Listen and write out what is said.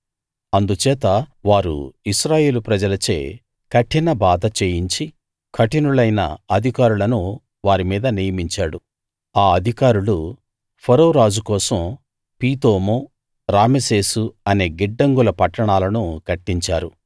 అందుచేత వారు ఇశ్రాయేలు ప్రజలచే కఠిన బాధ చేయించి కఠినులైన అధికారులను వారి మీద నియమించాడు ఆ అధికారులు ఫరో రాజు కోసం పీతోము రామెసేసు అనే గిడ్డంగుల పట్టణాలను కట్టించారు